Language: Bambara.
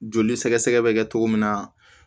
Joli sɛgɛsɛgɛ bɛ kɛ cogo min na